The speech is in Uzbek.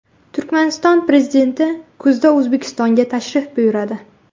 Turkmaniston Prezidenti kuzda O‘zbekistonga tashrif buyuradi.